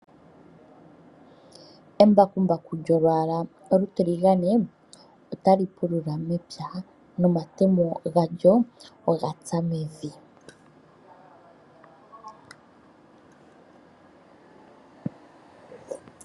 Embakumbaku olyo eshina lyopashinanena ndyoka hali pulula momapya. Eshina ndika ohali kala lyili momalwaala gayoolokathana ngaashi omatiligane, omazizi nayilwe. Eshina ndika ohali kala lina omatemo gokupulula nohali tulwa omahooli .